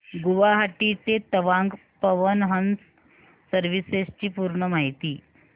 गुवाहाटी ते तवांग पवन हंस सर्विसेस ची पूर्ण माहिती